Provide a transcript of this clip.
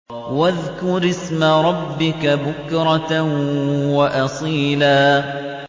وَاذْكُرِ اسْمَ رَبِّكَ بُكْرَةً وَأَصِيلًا